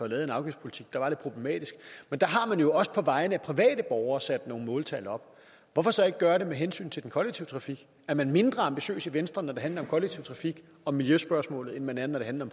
lavet en afgiftspolitik der var lidt problematisk men der har man jo også på vegne af private borgere sat nogle måltal op hvorfor så ikke gøre det med hensyn til den kollektive trafik er man mindre ambitiøs i venstre når det handler kollektive trafik og miljøspørgsmålet end man er når det handler